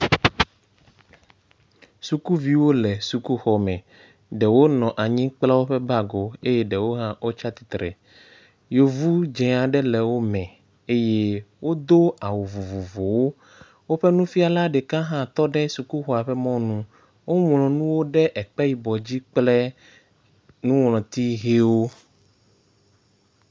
Sukuviwo le sukuxɔme. Ɖewo nɔ anyi kpla woƒe bagiwo eye ɖewo hã wo tsit atsitre. Yevu dze aɖe le wo me eye wodo awu vovovowo. Woƒe nufiala ɖeka hã tɔ ɖe sukuxɔa ƒe mɔnu. Woŋlu nuwo ɖe ekpe yibɔ dzi kple nuŋlɔti ʋiwo.